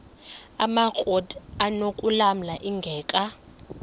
amakrot anokulamla ingeka